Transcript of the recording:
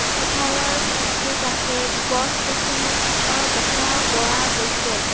পথাৰৰ কাষে কাষে গছ গছনী থকাও দেখা পোৱা গৈছে.